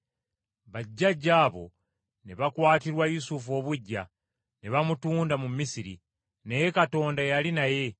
“Bajjajja abo ne bakwatirwa Yusufu obuggya, ne bamutunda mu Misiri. Naye Katonda yali naye,